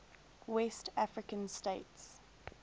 west african states